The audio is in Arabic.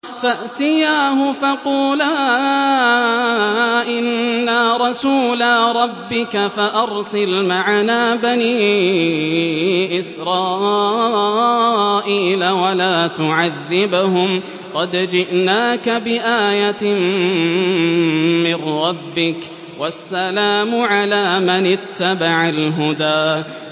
فَأْتِيَاهُ فَقُولَا إِنَّا رَسُولَا رَبِّكَ فَأَرْسِلْ مَعَنَا بَنِي إِسْرَائِيلَ وَلَا تُعَذِّبْهُمْ ۖ قَدْ جِئْنَاكَ بِآيَةٍ مِّن رَّبِّكَ ۖ وَالسَّلَامُ عَلَىٰ مَنِ اتَّبَعَ الْهُدَىٰ